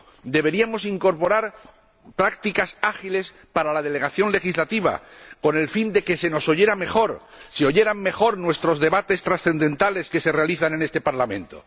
Deberíamos incorporar prácticas ágiles para la delegación legislativa con el fin de que se nos oyera mejor, se oyeran mejor los debates trascendentales que realizamos en este Parlamento.